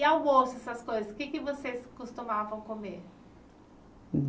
E almoço, essas coisas, o que é que vocês costumavam comer?